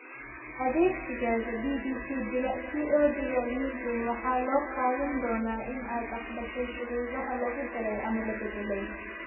Adeegsigaaga bbc.co.uk waxa loo qaadan doonaa in aad aqbashay shuruudaha lagu daray ama la beddelay.